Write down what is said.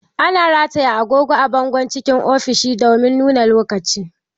Ana rataya agogo a bango cikin ofishi domin nuna lokaci